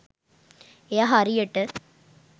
එය හරියට